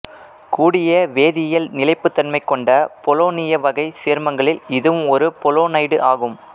கூடிய வேதியியல் நிலைப்புத்தன்மை கொண்ட பொலோனிய வகைச் சேர்மங்களில் இதுவும் ஒரு பொலோனைடு ஆகும்